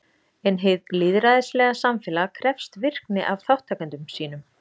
En hið lýðræðislega samfélag krefst virkni af þátttakendum sínum.